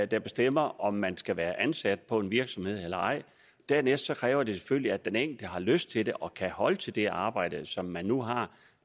der bestemmer om man skal være ansat på en virksomhed eller ej dernæst kræver det selvfølgelig at den enkelte har lyst til det og kan holde til det arbejde som man nu har